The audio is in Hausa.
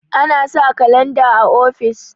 ana sa kalanda o ofis